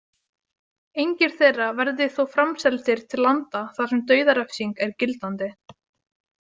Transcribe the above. Engir þeirra verði þó framseldir til landa þar sem dauðarefsing er gildandi.